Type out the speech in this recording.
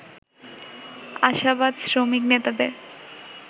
আশাবাদ শ্রমিক নেতাদের